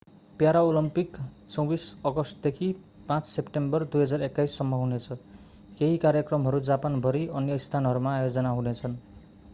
Paralympic 24 अगस्टदेखि 5 September 2021 सम्म हुनेछ केही कार्यक्रमहरू जापान भरि अन्य स्थानहरूमा आयोजना हुनेछन्